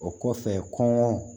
O kɔfɛ kɔn